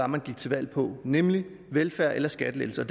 man gik til valg på nemlig velfærd eller skattelettelser